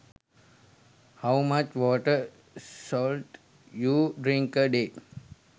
how much water should you drink a day